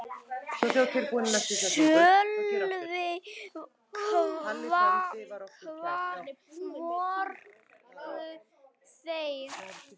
Sölvi: Hvar voru þeir?